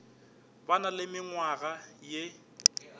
ba na le menngwaga ye